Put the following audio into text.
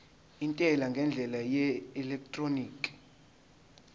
intela ngendlela yeelektroniki